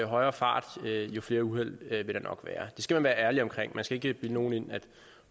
højere fart jo flere uheld vil der nok være det skal man være ærlig omkring man skal ikke bilde nogen ind at